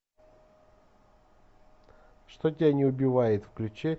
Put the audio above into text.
что тебя не убивает включи